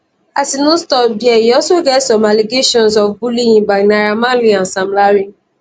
as e no stop dia e also get some allegations of bullying bynaira marleyandsam larry